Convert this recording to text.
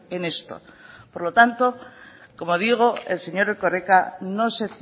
en esto por lo tanto como digo el señor erkoreka no se